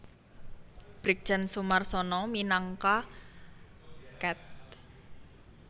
Brigjen Soemarsono minangka Ket